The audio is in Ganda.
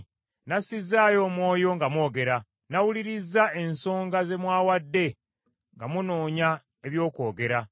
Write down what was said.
Nassizzaayo omwoyo nga mwogera, nawulirizza ensonga ze mwawadde nga munoonya eby’okwogera.